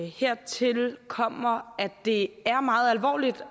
hertil kommer at det er meget alvorligt